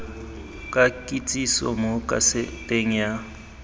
ka kitsiso mo kaseteng ya